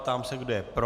Ptám se, kdo je pro.